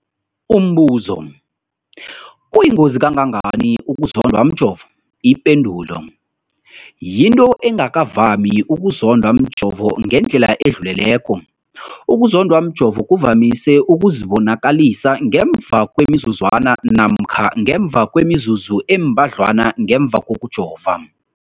Umbuzo, kuyingozi kangangani ukuzondwa mjovo? Ipendulo, yinto engakavami ukuzondwa mjovo ngendlela edluleleko. Ukuzondwa mjovo kuvamise ukuzibonakalisa ngemva kwemizuzwana namkha ngemva kwemizuzu embadlwana ngemva kokujova.